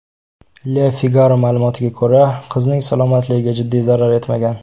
Le Figaro ma’lumotiga ko‘ra, qizning salomatligiga jiddiy zarar yetmagan.